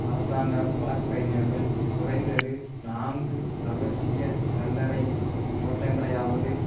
அரசாங்க வழக்கறிஞர்கள் குறைந்தது நான்கு இரகசிய கல்லறை தோட்டங்களையாவது